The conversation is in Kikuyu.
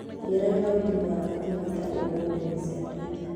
ĩĩ Raila Odinga afatie kwĩĩta ũ nenda-ini cia Twitter